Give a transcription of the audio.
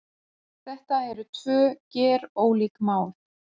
Þetta eru tvö gerólík mál